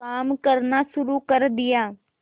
काम करना शुरू कर दिया